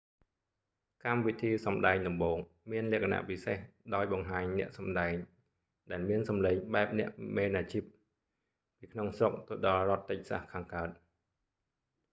កម្មវិធីសម្តែងដំបូង មានលក្ខណពិសេសដោយបង្ហាញអ្នកសំដែងដែលមានសំឡេងបែបអ្នកមែនអាជីព ពីក្នុងស្រុកទៅដល់រដ្ឋតិចសាស texas ខាងកើត